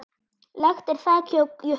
Lekt er þak hjá Jukka.